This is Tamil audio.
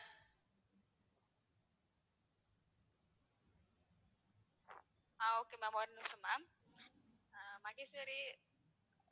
ஆஹ் okay ma'am ஒரு நிமிஷம் ma'am ஆஹ் மகேஸ்வரி